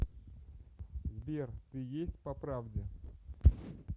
сбер ты есть по правде